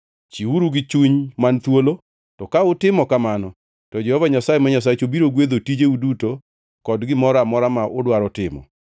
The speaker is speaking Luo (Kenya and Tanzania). Chiwreuru gi chuny man thuolo, to ka utimo kamano to Jehova Nyasaye ma Nyasachu biro gwedho tijeu duto kod gimoro amora ma udwaro timo.